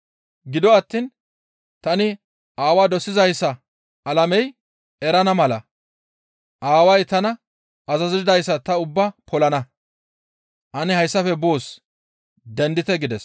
Gido attiin tani Aawaa dosizayssa alamey erana mala Aaway tana azazidayssa ta ubbaa polana. Ane hayssafe boos; dendite» gides.